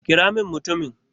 kira min mutumin!